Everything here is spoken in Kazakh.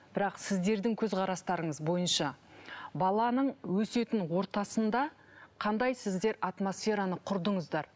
бірақ сіздердің көзқарастарыңыз бойынша баланың өсетін ортасында қандай сіздер атмосфераны құрдыңыздар